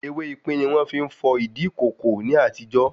Ewé ipín ni wọ́n fi ń fọ̀ ìdí ìkòkò ní àtijó